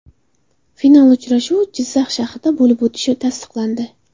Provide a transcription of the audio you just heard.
Final uchrashuvi Jizzax shahrida bo‘lib o‘tishi tasdiqlandi.